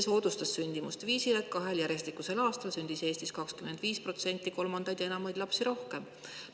See soodustas sündimust viisil, et kahel järjestikusel aastal sündis Eestis 25% rohkem kolmandaid ja enamaid lapsi.